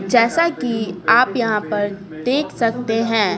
जैसा कि आप यहाँ पर देख सकते हैं।